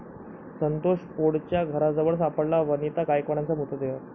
संतोष पोळच्या घराजवळ सापडला वनिता गायकवाडचा मृतदेह